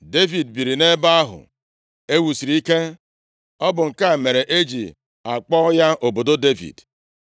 Devid biiri nʼebe ahụ e wusiri ike. Ọ bụ nke a mere e ji akpọ ya obodo Devid.